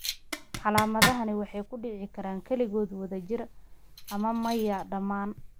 Calaamadahani waxay ku dhici karaan keligood, wadajir, ama maya dhammaan.